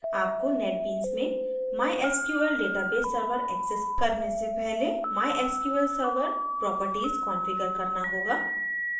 आपको netbeans में mysql database server access करने से पहले mysql server प्रोप्रटीज configure करना होगा